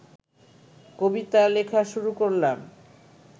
কবিতা লেখা শুরু করলাম